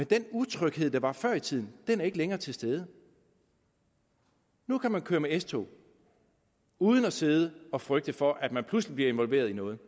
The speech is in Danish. den utryghed der var før i tiden den utryghed er ikke længere til stede nu kan man køre med s tog uden at sidde og frygte for at man pludselig bliver involveret i noget